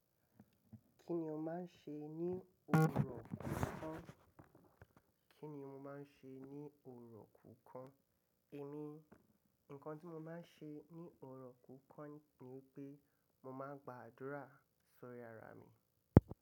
Kíni ó máa ń ṣe ní ọjọ́ kọ̀ọ̀kan? Kíni mo máa ń ṣe ní òrò kùkàn? Èmi, nǹkan tí mo máa ń ṣe ní ọjọ́ kọ̀ọ̀kan ni pé mo máa ń gba àdúrà sórí ara mi.